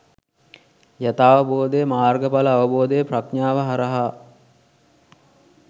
යථාවබෝධය, මාර්ගඵල අවබෝධය ප්‍රඥාව හරහා